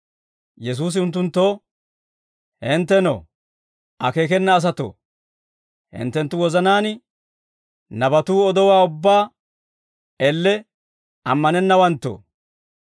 Yesuusi unttunttoo, «Hinttenoo, akeekena asatoo, hinttenttu wozanaan nabatuu odowaa ubbaa elle ammanennawanttoo;